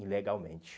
Ilegalmente.